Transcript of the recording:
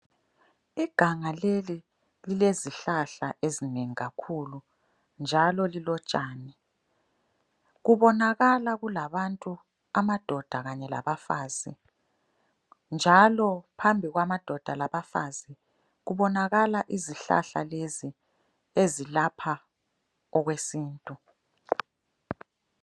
Iganga leli lilezihlahla ezinengi kakhulu njalo lilotshani. Kubonakala kulabantu amadoda kanye labafazi njalo phambi kwamadoda labafazi kubonakala izihlahla lezi ezilapha okwesintu.